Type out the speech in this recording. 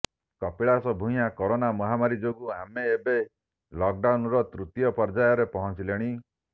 Kapilash Bhuyan corona ମହାମାରୀ ଯୋଗୁଁ ଆମେ ଏବେ ଲକ୍ଡାଉନର ତୃତୀୟ ପର୍ଯ୍ୟାୟରେ ପହଞ୍ଚିଲେଣି